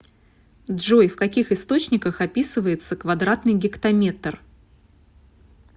джой в каких источниках описывается квадратный гектометр